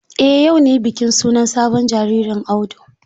Eh yau ne bikin sunan sabon jaririn Audu.